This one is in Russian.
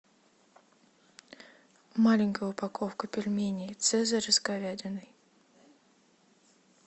маленькая упаковка пельменей цезарь с говядиной